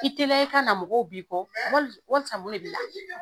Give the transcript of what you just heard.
I teliya i ka na mɔgɔw b'i kɔ wali walisa mun de b'i la?